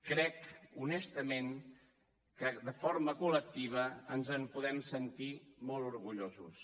crec honestament que de forma col·lectiva ens en podem sentir molt orgullosos